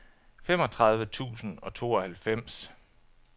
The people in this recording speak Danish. femogtredive tusind og tooghalvfems